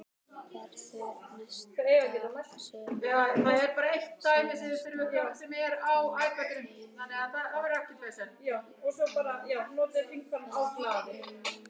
Verður næsta sumar hans síðasta tímabil á ferlinum?